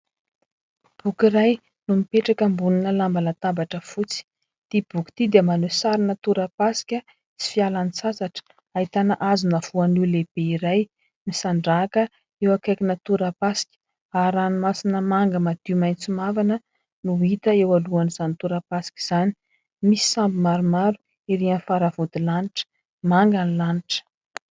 boky iray no mipetraka ambonina lamban-databatra fotsy , ity boky ity dia maneho sarina tora-pasika sy fialan-tsasatra ahitana hazona voanio lehibe iray misandrahaka eo akaikina tora-pasika ary ranomasina manga madio maitso mavana no hita eo alohan'izany tora-pasika izany; misy sambo maromaro ery amin'ny faravodilanitra , manga ny lanitra